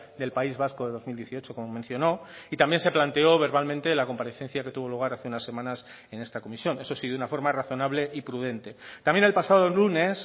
del país vasco de dos mil dieciocho como mencionó y también se planteó verbalmente la comparecencia que tuvo lugar hace unas semanas en esta comisión eso sí de una forma razonable y prudente también el pasado lunes